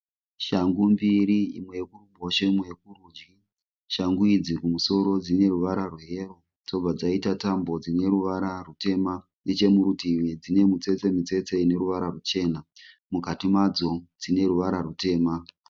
Shangu mbiri imwe yekuruboshwe imwe yekurudyi. Shangu idzi kumusoro dzineruvara rweyero dzobva dzaita tambo dzineruvara rwutema. Nechemurutivi dzine mutsetse mutsetse ineruvara ruchena. Mukati madzo dzineruvara rwutema.